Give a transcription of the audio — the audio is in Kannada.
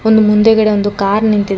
ಒಂದು ಮುಂದೆಗಡೆ ಒಂದು ಕಾರ್ ನಿಂತಿದೆ.ಕಾ--